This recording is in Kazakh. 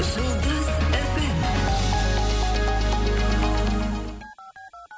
жұлдыз эф эм